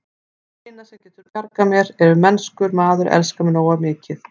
Það eina, sem getur bjargað mér, er ef mennskur maður elskar mig nógu mikið.